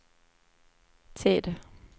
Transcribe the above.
tid